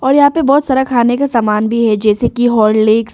और यहां पे बहुत सारा खाने का सामान भी है जैसे कि हॉर्लिक्स ।